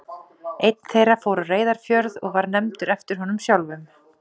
Einn þeirra fór á Reyðarfjörð og var nefndur eftir honum sjálfum.